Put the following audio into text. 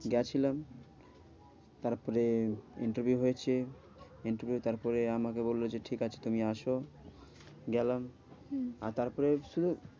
গিয়েছিলাম তারপরে interview হয়েছে interview তারপরে আমাকে বললো যে ঠিকাছে তুমি আসো। গেলাম হম আর তারপরে হচ্ছিলো